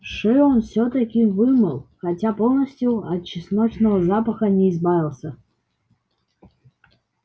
шею он всё-таки вымыл хотя полностью от чесночного запаха не избавился